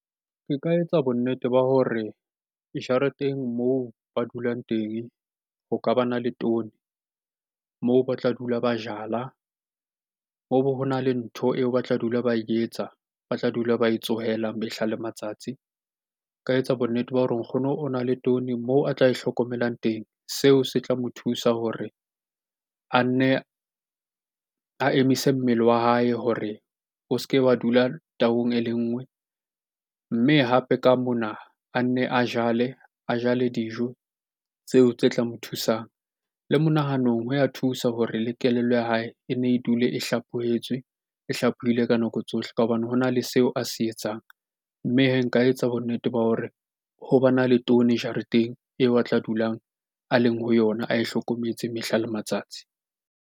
Ke ka etsa bonnete ba hore dijareteng moo ba dulang teng ho ka bana le toni moo ba tla dula ba jala. Ho na le ntho eo ba tla dula ba etsa, ba tla dula ba e tsohelang mehla le matsatsi. Nka etsa bonnete ba hore nkgono o na le toni moo a tla e hlokomelang teng. Seo se tla mo thusa hore a nne a emise mmele wa hae hore o se ke wa dula e le nngwe. Mme hape ka mona a nne a jale, a jale dijo tseo tse tla mo thusang. Le monahanong ho ya thusa hore le kelello ya hae e ne e dule e hlaphohetswe, e hlaphohile ka nako tsohle ka hobane hona le seo a se etsang. Mme hee nka etsa bonnete ba hore ho ba na le toni jareteng eo a tla dulang a leng ho yona, ae hlokometse mehla le matsatsi.